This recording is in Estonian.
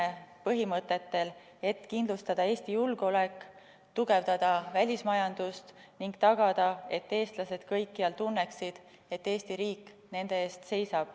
Selle põhimõtted on järgmised: kindlustada Eesti julgeolek, tugevdada välismajandust ning tagada, et eestlased kõikjal tunneksid, et Eesti riik seisab nende eest.